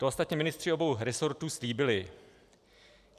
To ostatně ministři obou rezortů slíbili.